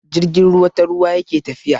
Jirgin ruwa ta ruwa yake tafiya.